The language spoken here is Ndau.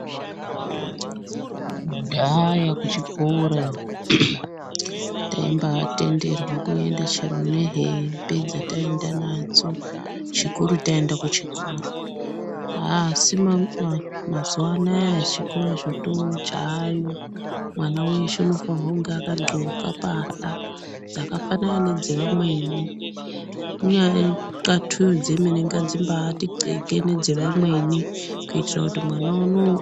Kudhaya kuchikora taibaatenderwa kuenda chero nehembe dzataenda nadzo chikuru taenda kuchikora asi mazuwa anaya chikora chaayo mwana weshe unofane kunge akadhloka pahla dzakafanana nedzeamweni inyaya yenxlatuyo dzemene ngadzibaati nxleke nedzeamweni kuitira kuti mwana adakare pasina kushekwa.